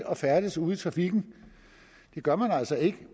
at færdes ude i trafikken det gør man altså ikke